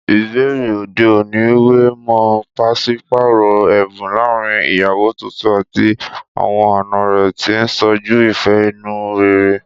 Ìbẹ̀rẹ̀ òde òní wé mọ́ pàṣípààrọ̀ ẹ̀bùn láàárín ìyàwó tuntun àti àwọn àna rẹ̀, tí ń ṣojú ìfẹ́ inú rere.